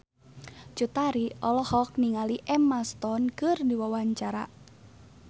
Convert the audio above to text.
Cut Tari olohok ningali Emma Stone keur diwawancara